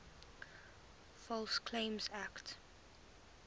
false claims act